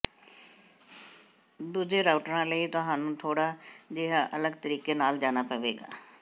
ਦੂਜੇ ਰਾਊਟਰਾਂ ਲਈ ਤੁਹਾਨੂੰ ਥੋੜਾ ਜਿਹਾ ਅਲੱਗ ਤਰੀਕੇ ਨਾਲ ਜਾਣਾ ਪਵੇਗਾ